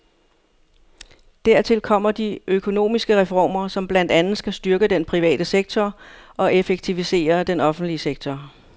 Dertil kommer de økonomiske reformer, som blandt andet skal styrke den private sektor og effektivisere den offentlige sektor.